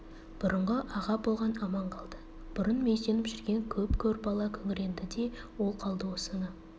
бұрынғы аға болған аман қалды бұрын мүйізденіп жүрген көп көр бала күңіренді де ол қалды осыны